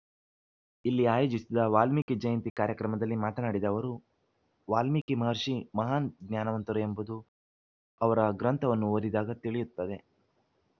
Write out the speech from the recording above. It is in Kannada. ಇಲ್ಲಿ ಆಯೋಜಿಸಿದ್ದ ವಾಲ್ಮೀಕಿ ಜಯಂತಿ ಕಾರ್ಯಕ್ರಮದಲ್ಲಿ ಮಾತನಾಡಿದ ಅವರು ವಾಲ್ಮೀಕಿ ಮಹರ್ಷಿ ಮಹಾನ್‌ ಜ್ಞಾನವಂತರು ಎಂಬುದು ಅವರ ಗ್ರಂಥವನ್ನು ಓದಿದಾಗ ತಿಳಿಯುತ್ತದೆ